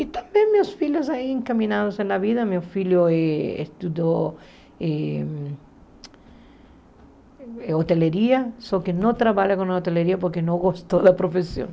E também meus filhos aí encaminados na vida, meu filho eh estudou hoteleria, só que não trabalha com hoteleria porque não gostou da profissão.